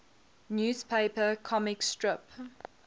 newspaper comic strip